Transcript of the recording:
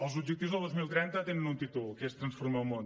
els objectius de dos mil trenta tenen un títol que és transformar el món